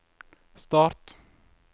start